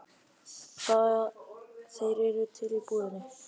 Þeir eru til í búðinni.